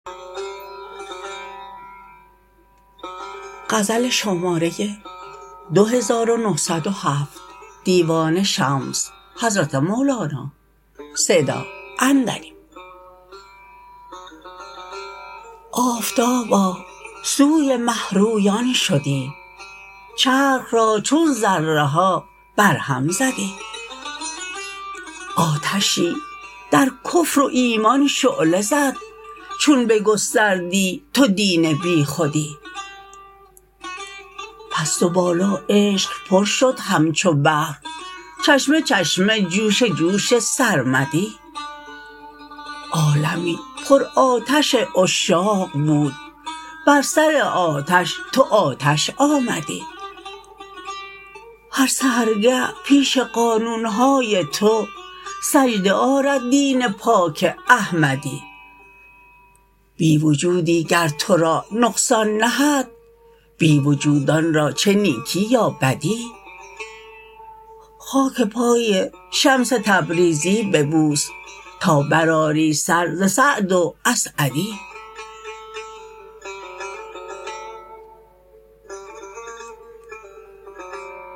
آفتابا سوی مه رویان شدی چرخ را چون ذره ها برهم زدی آتشی در کفر و ایمان شعله زد چون بگستردی تو دین بیخودی پست و بالا عشق پر شد همچو بحر چشمه چشمه جوش جوش سرمدی عالمی پرآتش عشاق بود بر سر آتش تو آتش آمدی هر سحرگه پیش قانون های تو سجده آرد دین پاک احمدی بی وجودی گر تو را نقصان نهد بی وجودان را چه نیکی یا بدی خاک پای شمس تبریزی ببوس تا برآری سر ز سعد و اسعدی